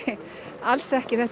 alls ekki þetta